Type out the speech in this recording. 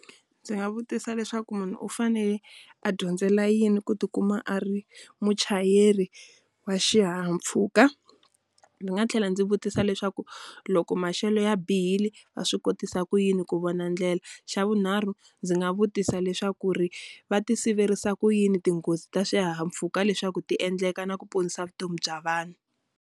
Ndzi nga vutisa leswaku munhu u fanele a dyondzela yini ku ti kuma a ri muchayeri wa xihahampfhuka? Ndzi nga tlhela ndzi vutisa leswaku loko maxelo ya bihile, va swi kotisa ku yini ku vona ndlela? Xa vunharhu ndzi nga vutisa leswaku ri va ti siverisa ku yini tinghozi ta swihahampfhuka leswaku ti endleka na ku ponisa vutomi bya vanhu?